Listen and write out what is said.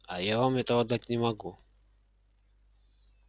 а я вам этого дать не могу